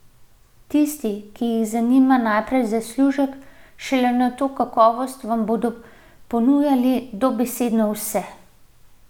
Tisti, ki jih zanima najprej zaslužek, šele nato kakovost, vam bodo ponujali dobesedno vse.